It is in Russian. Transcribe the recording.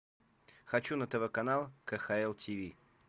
хочу на тв канал кхл тиви